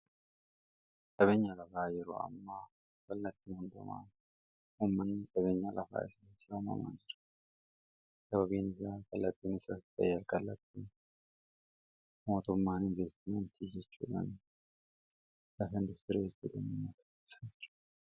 Qabeenya lafaa yeroo ammaa kallattii hundumaan ummanni qabeenyaa lafaa isarraa mamaan jira. Sababiin isaa kallattiin isaarratti kallattii mootummaan investimentii jechuudhaan lafa industirii gadaam ummataa